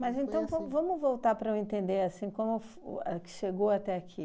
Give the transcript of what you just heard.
Mas, então, vamos vamos voltar para eu entender, assim, como f o a chegou até aqui.